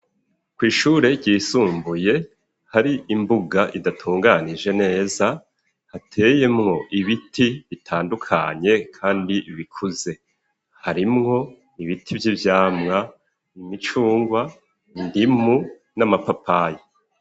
kw'ishure ryisumbuye hari imbuga idatunganije neza, hateyemwo ibiti bitandukanye kandi bikuze. Harimwo n'ibiti vy'ivyamwa: imicungwe, indimu n'amapapayi.